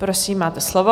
Prosím, máte slovo.